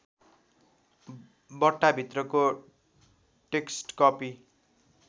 बट्टाभित्रको text copy